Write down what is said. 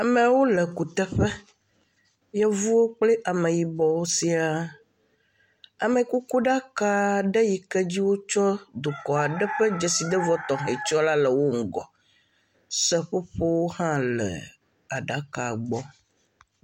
Amewo le kutɔƒe, yevuwo kple ameyibɔwo siaa, amekukuɖaka yi ke dzi wotsyɔ̃ dukɔ aɖe ƒe dzesidevɔ tɔxɛ tsyɔ̃ la le wo ŋgɔ, seƒoƒowo hã le aɖaka gbɔ.